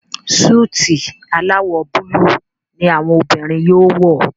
Súìtì alawọ Búlúù ní àwọn obìrin yóò wọ.